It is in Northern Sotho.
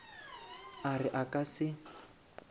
a re a ka se